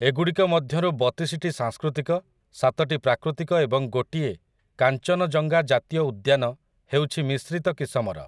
ଏଗୁଡ଼ିକ ମଧ୍ୟରୁ ବତିଶିଟି ସାଂସ୍କୃତିକ, ସାତଟି ପ୍ରାକୃତିକ ଏବଂ ଗୋଟିଏ, କାଞ୍ଚନଯଙ୍ଗା ଜାତୀୟ ଉଦ୍ୟାନ, ହେଉଛି ମିଶ୍ରିତ କିସମର ।